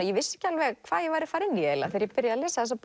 ég vissi ekki alveg hvað ég væri að fara í þegar ég byrjaði að lesa